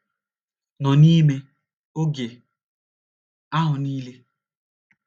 nọ n’ime oge ahụ niile?